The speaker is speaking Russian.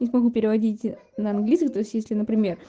не смогу переводить на английский то есть если на пример